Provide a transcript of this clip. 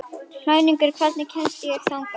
Klængur, hvernig kemst ég þangað?